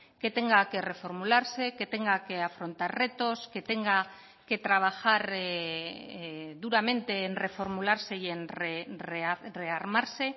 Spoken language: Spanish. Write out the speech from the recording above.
que tenga que reformularse que tenga que afrontar retos que tenga que trabajar duramente en reformularse y en rearmarse